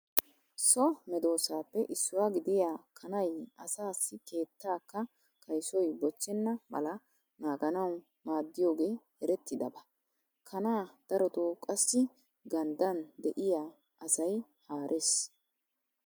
So medoosaappe issuwa gidiya kanay asaassi keettaakka kaysoy bochchenna mala naaganawu maaddiyogee erettidaba. Kanaa darotoo qassi ganddan de'iya asay haarees.